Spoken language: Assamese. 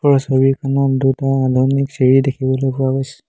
ওপৰৰ ছবিখনত দুটা লনলিক চিৰি দেখিবলৈ পোৱা গৈছে।